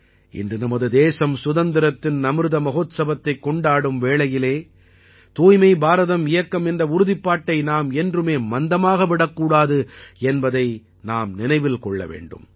இன்று நமது தேசம் சுதந்திரத்தின் அமிர்த மஹோத்சவத்தைக் கொண்டாடும் வேளையில் தூய்மை பாரதம் இயக்கம் என்ற உறுதிப்பாட்டை நாம் என்றுமே மந்தமாக விடக்கூடாது என்பதை நாம் நினைவில் கொள்ளவேண்டும்